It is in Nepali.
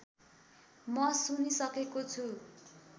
म सुनिसकेको छु